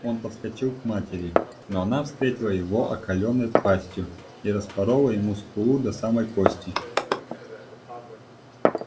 он подскочил к матери но она встретила его оскаленной пастью и распорола ему скулу до самой кости